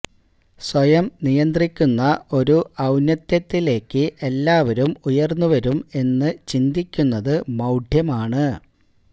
സ്വയം നിയന്ത്രിക്കുന്ന ഒരു ഔന്നത്യത്തിലേക്ക് എല്ലാവരും ഉയര്ന്നു വരും എന്ന് ചിന്തിക്കുന്നത് മൌഢ്യമാണ്